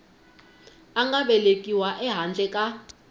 a nga velekiwa ehandle ka